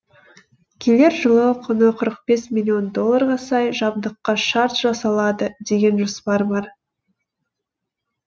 келер жылы құны қырық бес миллион долларға сай жабдыққа шарт жасалады деген жоспар бар